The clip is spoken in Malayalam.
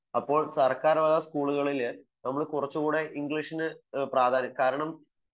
അപ്പോൾ സർക്കാർ വക സ്കോളുകളിൽ നമ്മൾ കുറച്ചു കൂടി ഇംഗ്ലീഷിന് പ്രാധാന്യം കാരണം